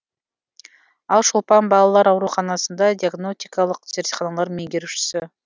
ал шолпан балалар ауруханасында диагнотикалық зертхананың меңгерушісі